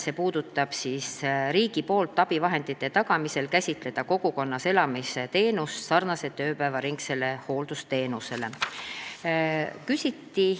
See puudutab seda, et riigilt saadavate abivahendite tagamisel tuleb käsitleda kogukonnas elamise teenust sarnaselt ööpäevaringse hooldusteenusega.